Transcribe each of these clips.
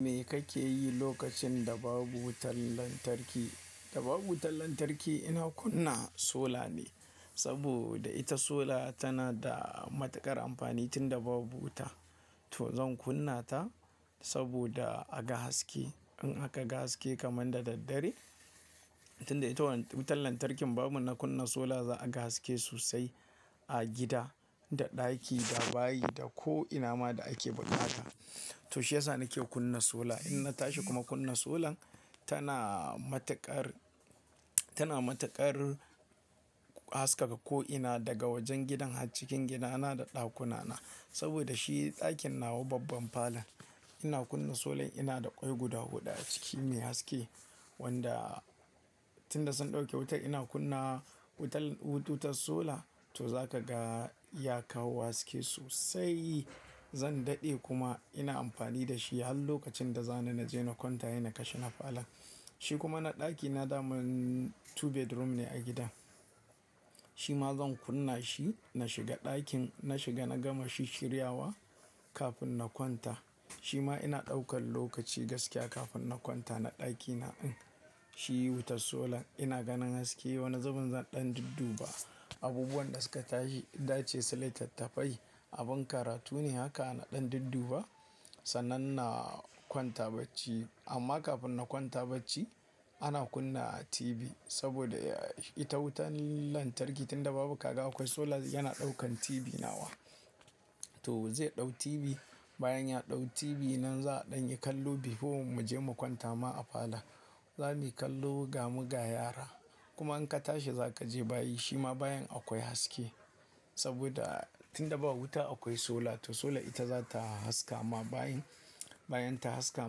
Me kake yi lokacin da babu wutar lantarki? Da babu wutar lantarki ina kunna sola ne, saboda ita sola tana da matuƙar amfani tunda babu wuta. To zan kunna ta saboda a ga haske. In aka ga haske kaman da daddare, tunda ita wutan lantarkin babu na kunna sola za a ga haske sosai a gida, da ɗaki, da bayi, da ko ina ma da ake buƙata. To shi ya sa nike kunna sola. In na tashi kuma kunna solan, tana matuƙar, tana matuƙar haskaka ko ina daga wajen gidan har cikin gidana da ɗakuna na. Saboda shi ɗakin nawa babban falon. Ina kunna solan ina da ƙwai guda huɗu a ciki mai haske, wanda tunda sun ɗauke wutar ina kunna wutar, wutar sola to zaka ga ya kawo haske sosai. Zan daɗe kuma ina amfani da shi har lokacin da za ni na je na kwanta he na kashe na falon. Shi kuma na ɗaki na daman bedroom biyu ne a gidan. Shi ma zan kunna shi na shiga ɗakin. Na shiga na gama shishiryawa kafin na kwanta. Shi ma ina ɗaukan lokaci gaskiya kafin na kwanta na ɗaki na en. Shi wutar sola ina ganin haske, wani zubin zan ɗan dudduba. Abubuwan da suka tashi dace su litattafai. Abin karatu ne haka na ɗan dudduba, sannan na kwanta bacci. Amma kafin na kwanta bacci ana kunna TV saboda ita wutan lantarki tunda babu ka ga akwai sola yana ɗaukan TV nawa. To zai ɗau TV, bayan ya ɗau TV nan za a ɗan yi kallo before mu je mu kwanta ma a falon. Za muyi kallo gamu ga yara. Kuma in ka tashi za ka je bayi. Shi ma bayan akwai haske saboda tunda ba wuta akwai sola. To sola ita za ta haska ma bayin. Bayan ta haska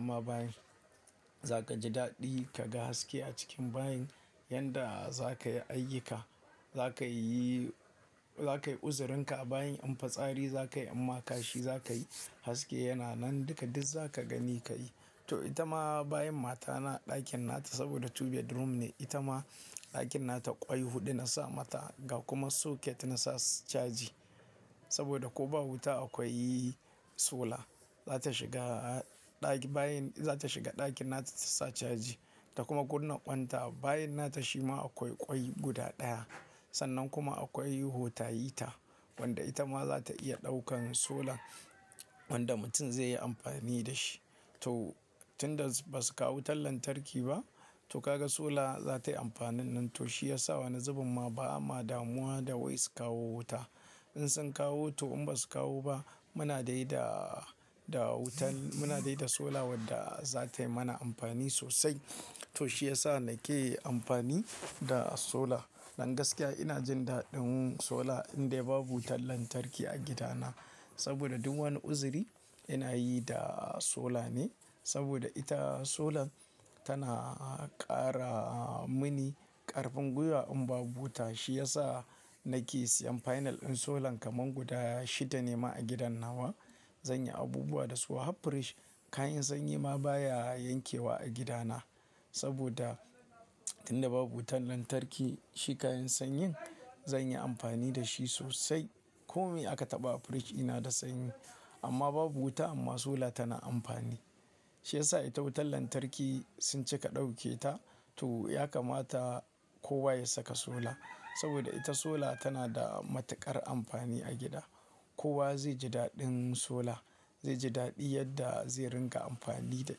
ma bayin, za ka ji daɗi ka ga haske a cikin bayin. Yanda za ka yi ayyuka, za ka yi, za ka yi uzurinka a bayin. In fitsari za ka yi amma kashi za ka yi haske yana nan. Duka duk za ka gani ka yi. To ita ma bayin matana ɗakin nata saboda bedroom biyu ne. Ita ma ɗakin nata ƙwai huɗu na sa mata ga kuma socket na sa caji. Saboda ko ba wuta akwai sola, za ta shiga ɗaki bayan, za ta shiga ɗakin nata ta sa caji ta kuma kunna ƙwan ta a bayin nata. Shi ma akwai ƙwai guda ɗaya. Sannan kuma akwai hotayita wanda ita ma za ta iya ɗaukan sola wanda mutum zai yi amfani da shi. To tunda ba su kawo wutar lantarki ba, to ka ga sola za tayi amfanin nan. To shi ya sa wani zubin ma bama damuwa da wai su kawo wuta. In sun kawo to in ba su kawo ba muna dai da, da wutan, muna dai da sola wadda za tayi mana amfani sosai. To shi ya sa nake amfani da sola. Dan gaskiya ina jin daɗin sola indai babu wutar lantarki a gidana. Saboda duk wani uzuri ina yi da sola ne. Saboda ita sola tana ƙara mini ƙarfin gwiwa in babu wuta. Shi ya sa nake siyan final ɗin solan kaman guda shida ne ma a gidan nawa. Zan yi abubuwa da su. Har fridge kayan sanyi ma baya yankewa a gidana. Saboda tunda babu wutan lantarki, shi kayan sanyin zan yi amfani da shi sosai. Komai aka taɓa a fridge ina da sanyi. Amma babu wuta amma sola tana amfani. Shi ya sa ita wutan lantarki sun cika ɗauke ta to ya kamata kowa ya saka sola. Saboda ita sola tana da matuƙar amfani a gida. Kowa zai ji daɗin sola. Zai ji daɗi yadda zai ringa amfani da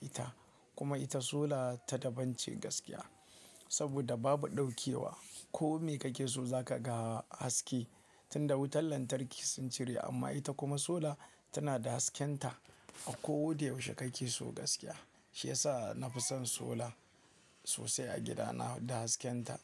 ita. Kuma ita sola ta dabance gaskiya. Saboda babu ɗaukewa. Ko me kake so za ka ga haske tunda wutan lantarki sun cire. Amma ita kuma sola tana da hasken ta akodaushe kake so gaskiya. Shi ya sa na fi son sola sosai a gidana da hasken ta.